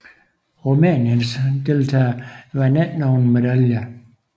Rumæniens deltagere vandt ikke nogen medaljer